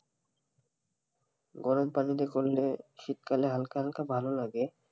গরম পানি দিয়ে করলে শীতকালে হালকা হাল্কা ভালো লাগে,